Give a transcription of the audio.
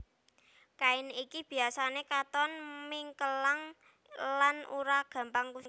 Kain iki biasané katon mengkileng lan ora gampang kusut